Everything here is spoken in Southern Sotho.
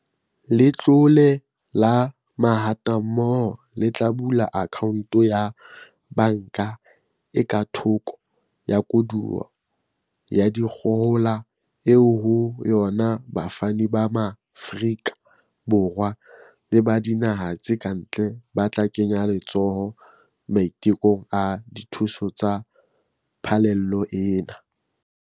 Letlole la Mahatammoho le tla bula akhaonto ya banka e ka thoko ya koduwa ya dikgohola eo ho yona bafani ba Maafrika Borwa le ba dinaha tse kantle ba tla kenya letsoho maitekong a dithuso tsa phallelo ena.